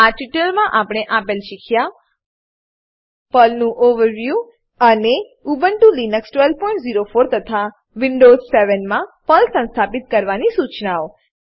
આ ટ્યુટોરીયલમાં આપણે આપેલ શીખ્યા છીએ પર્લનું ઓવરવ્યૂ ઓવરવ્યુ અને ઉબુન્ટુ લીનક્સ 1204 તથા વિન્ડોવ્ઝ 7 માટે પર્લ સંસ્થાપિત કરવાની સૂચનાઓ